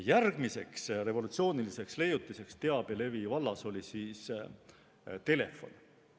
Järgmine revolutsiooniline leiutis teabelevi vallas oli telefon.